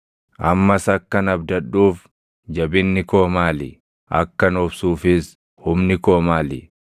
“Ammas akkan abdadhuuf jabinni koo maali? Akkan obsuufis humni koo maali?